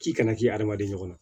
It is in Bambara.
K'i kana k'i hadamaden ɲɔgɔn na